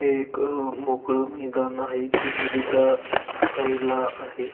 हे एक अ मोकळ मैदान आहे जे नदीच्या साइडला आहे.